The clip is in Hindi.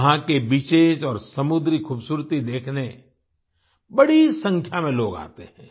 वहाँ के बीचेस और समुद्री खूबसूरती देखने बड़ी संख्या में लोग आते हैं